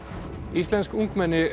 íslensk ungmenni